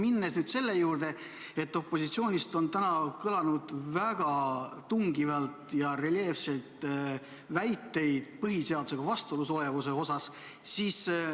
Aga lähen nüüd selle juurde, et opositsioonist on täna väga tugevalt ja reljeefselt tulnud väiteid põhiseadusega vastuolu kohta.